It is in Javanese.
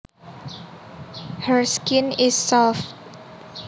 Her skin is soft